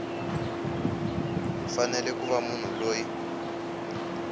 fanele ku va munhu loyi